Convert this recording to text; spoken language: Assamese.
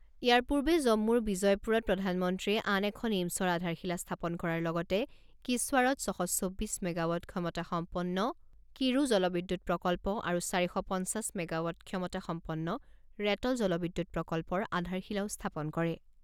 ইয়াৰ পূৰ্বে জম্মুৰ বিজয়পুৰত প্ৰধানমন্ত্ৰীয়ে আন এখন এইম্‌ছৰ আধাৰশিলা স্থাপন কৰাৰ লগতে কিছৱাৰত ছশ চৌব্বিছ মেগাৱাট ক্ষমতাসম্পন্ন কিৰু জলবিদ্যুৎ প্ৰকল্প আৰু চাৰি শ পঞ্চাছ মেগাৱাট ক্ষমতাসম্পন্ন ৰেটল জলবিদ্যুৎ প্ৰকল্পৰ আধাৰশিলাও স্থাপন কৰে।